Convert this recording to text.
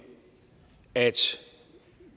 at